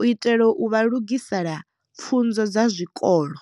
u itela u vha lugisela pfunzo dza zwikolo.